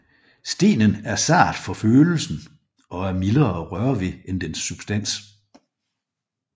Stenen er sart for følelsen og er mildere at røre ved end dens substans